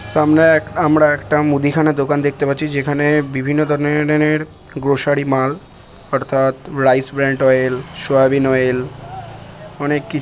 সামনে এক আমরা একটা মুদিখানা দোকান দেখতে পাচ্ছি যেখানে বিভিন্ন ধরনের গ্রোসারি মাল অর্থাৎ rice brand oil soyabean oil অনেক কি--